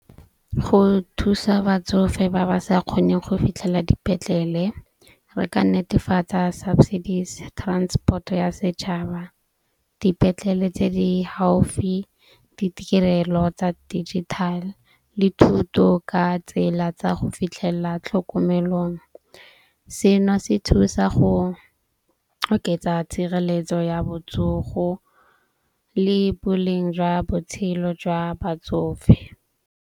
Go thusa batsofe ba ba sa kgoneng go fitlhela dipetlele, re ka netefatsa subsidies transport-o ya setšhaba, dipetlele tse di healthy, ditirelo tsa digital le thuto ka tsela tsa go fitlhelela tlhokomelong. Sena se thusa go oketsa tshireletso ya botsogo le boleng jwa botshelo jwa batsofe.